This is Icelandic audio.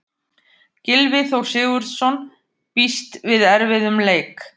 Gylfi Þór Sigurðsson býst við erfiðum leik.